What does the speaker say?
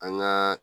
An gaa